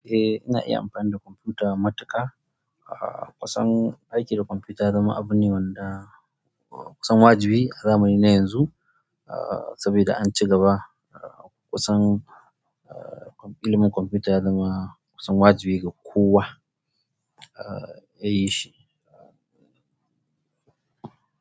Eh, ina iya amfani da kwamfuta matuƙa. Ah, kusan aiki da kwamfuta ya zama abu ne wanda kusan wajibi ne a zamani na yanzu. Ah, saboda an cigaba, ah, kusan, ah, ilimin kwamfuta ya zama kusan wajibi ga kowa, ah, ya yi shi.